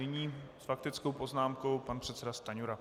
Nyní s faktickou poznámkou pan předseda Stanjura.